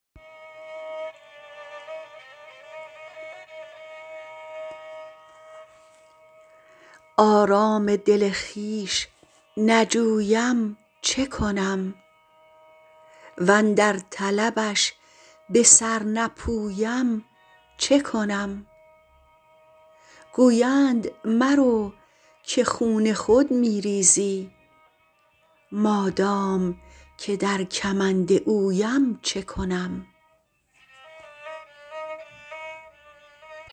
آرام دل خویش نجویم چه کنم وندر طلبش به سر نپویم چه کنم گویند مرو که خون خود می ریزی مادام که در کمند اویم چه کنم